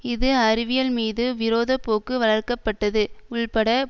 இது அறிவியல்மீது விரோத போக்கு வளர்க்க பட்டது உள்பட